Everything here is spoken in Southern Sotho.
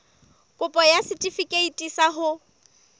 kopo ya setefikeiti sa ho